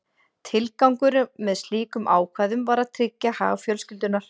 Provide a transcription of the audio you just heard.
Tilgangurinn með slíkum ákvæðum var að tryggja hag fjölskyldunnar.